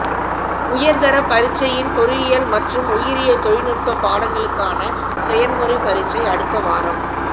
உயர்தர பரீட்சையின் பொறியியல் மற்றும் உயிரியல் தொழிநுட்ப பாடங்களுக்கான செயன்முறைப் பரீட்சை அடுத்த வாரம்